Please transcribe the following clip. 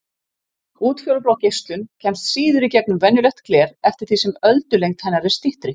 Útfjólublá geislun kemst síður í gegnum venjulegt gler eftir því sem öldulengd hennar er styttri.